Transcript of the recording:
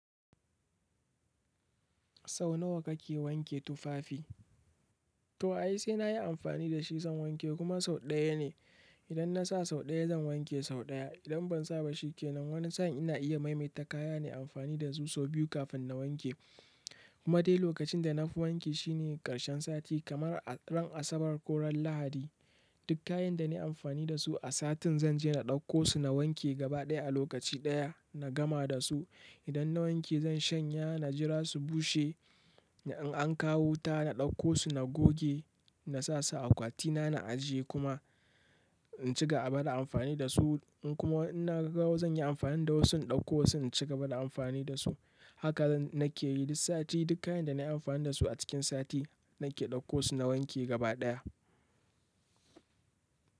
Sau nawa kake wanke tufafi? To ai sai na yi amfani da shi zan wanke kuma sau ɗaya ne. Idan na sa sau ɗaya zan wanke sau ɗaya. Idan ban sa ba shi ke nan wani sa'an ina iya maimaita kaya na yi amfani da su sau biyu kafin na wanke. Kuma dai lokacin da na fi wanki shi ne ƙarshen sati kamar ran Asabar ko ran Lahadi. Duk kayan da na yi amfani da su a satin zan je na ɗauko su na wanke gaba ɗaya a lokaci ɗaya na gama da su. Idan na wanke zan shanya, na jira su bushe. In an kawo wuta, na ɗauko su na goge, na sa su a akwati na, na ajiye kuma in ci gaba da amfani da su. Kuma in naga zan yi amfani da wasu, in ɗauko wasu in ci gaba da amfani da su. Haka nan nake yi duk sati. Duk kayan da na yi amfani da su a cikin sati nake ɗauko su na wanke gaba ɗaya.